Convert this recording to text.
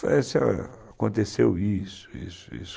Falei assim, olha, aconteceu isso, isso, isso.